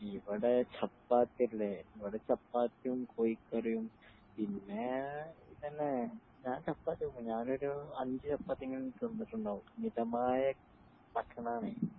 ഇവിടെ ചപ്പാത്തിയല്ലേ ഇവിടെ ചപ്പാത്തിയും കോഴിക്കറിയും പിന്നെ ഇതെന്നെ ഞാനൊരു അഞ്ച് ചപ്പാത്തിയെങ്കിലും തിന്നിട്ടുണ്ടാകും മിതമായ ഭക്ഷണമാണ്